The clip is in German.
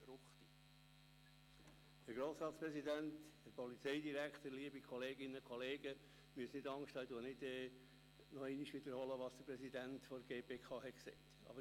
Ich werde nicht wiederholen, was der Präsident der GPK bereits gesagt hat.